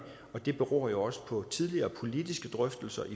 og det beror jo også på tidligere politiske drøftelser